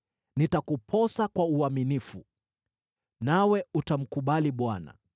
Nitakuposa kwa uaminifu, nawe utamkubali Bwana .